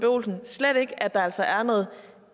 olsen slet ikke at der altså er noget